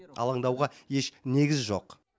алаңдауға еш негіз жоқ